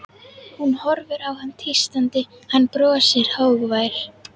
Hún horfir á hann tístandi, hann brosir, hógvær.